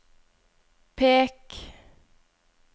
pek